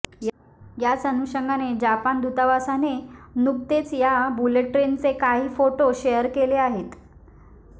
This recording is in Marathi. याच अनुषंगाने जपान दूतावासाने नुकतेच या बुलटे ट्रेनचे काही फोटो शेअर केले आहेत